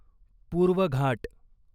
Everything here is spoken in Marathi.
पूर्व घाट